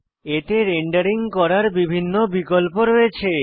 এতে রেন্ডারিং করার বিভিন্ন বিকল্প রয়েছে